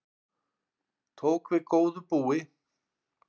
Tók við góðu búi